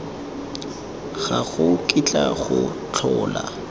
ga go kitla go tlhola